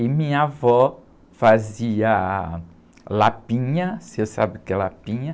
E minha avó fazia lapinha, você sabe o que é lapinha?